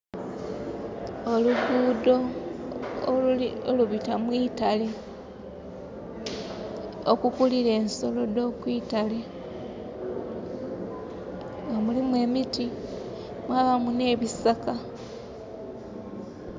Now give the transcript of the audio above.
Olugudho olubita mwitale okukulila ensolo dho kwitale nga mulimu emiti, mwabamu nh'ebisaka.